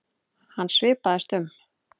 Hann svipaðist um.